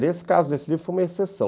Nesse caso, esse livro foi uma exceção.